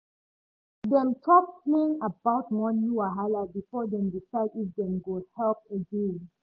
dem talk plain about money wahala before dem decide if dem go help again